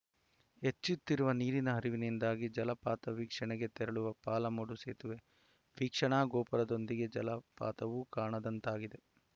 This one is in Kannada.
ಹೆಚ್ಚುತ್ತಿರುವ ನೀರಿನ ಹರಿವಿನಿಂದಾಗಿ ಜಲಪಾತ ವೀಕ್ಷಣೆಗೆ ತೆರಳುವ ಪಾಲಮಡು ಸೇತುವೆ ವೀಕ್ಷಣಾ ಗೋಪುರದೊಂದಿಗೆ ಜಲಪಾತವೂ ಕಾಣದಂತಾಗಿದೆ